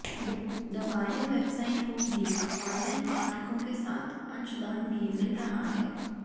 the Wire website को भी online पाठकों के साथ अंशदान भी मिल रहा है